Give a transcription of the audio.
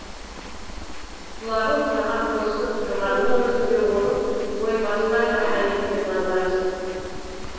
құлағын саған тосып тұрғанның өзінде оның ойы басқа жақта екенін аңғарасың